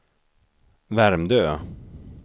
Värmdö